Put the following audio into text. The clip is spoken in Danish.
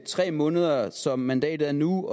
tre måneder som mandatet er nu